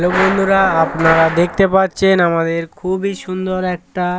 Hello বন্ধুরা আপনারা দেখতে পাচ্ছেন আমাদের খুবই সুন্দর একটা।